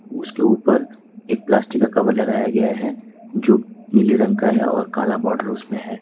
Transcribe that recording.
उसके ऊपर एक प्लास्टिक का कवर लगाया गया हैं जो पीले रंग का है और काला बॉडर उसमें हैं।